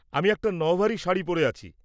আমি একটা নওভারি শাড়ি পরে আছি।